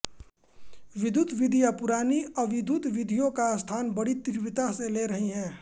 विद्युत् विधियाँ पुरानी अविद्युत् विधियों का स्थान बड़ी तीव्रता से ले रही हैं